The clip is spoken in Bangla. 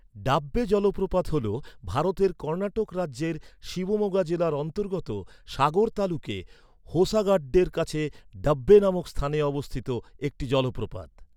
ডাব্বে জলপ্রপাত হল ভারতের কর্ণাটক রাজ্যের শিবমোগা জেলার অন্তর্গত সাগর তালুকে হোসাগাড্ডের কাছে ডাব্বে নামক স্থানে অবস্থিত একটি জলপ্রপাত।